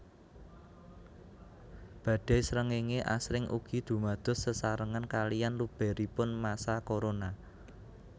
Badai srengéngé asring ugi dumados sesarengan kaliyan lubèripun massa korona